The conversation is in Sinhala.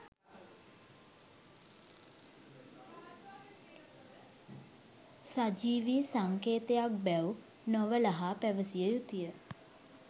සජීවී සංකේතයක් බැව් නොවළහා පැවසිය යුතුය